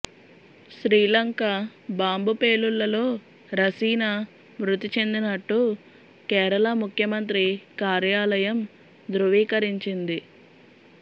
Sri Lanka bomb పేలుళ్లలో రసీనా మృతి చెందినట్టు కేరళ ముఖ్యమంత్రి కార్యాలయం ధ్రువీకరించింది